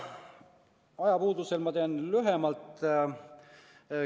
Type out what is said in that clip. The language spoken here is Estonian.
Ajapuudusel ma räägin lühemalt.